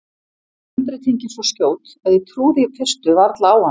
Umbreytingin svo skjót að ég trúði í fyrstu varla á hana.